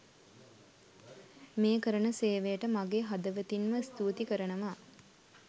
මේ කරන සේවයට මගේ හදවතින්ම ස්තුතියි කරනවා